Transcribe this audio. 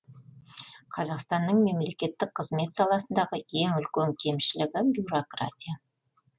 қазақстанның мемлекеттік қызмет саласындағы ең үлкен кемшілігі бюрократия